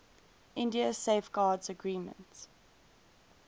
india safeguards agreement